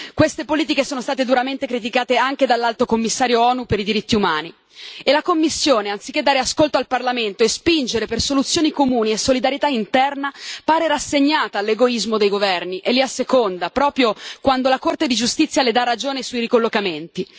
Queste politiche sono state duramente criticate anche dall'Alto Commissario delle Nazioni Unite per i diritti umani e la Commissione, anziché dare ascolto al Parlamento e spingere per soluzioni comuni e solidarietà interna, pare rassegnata all'egoismo dei governi e li asseconda proprio quando la Corte di giustizia le dà ragione sui ricollocamenti.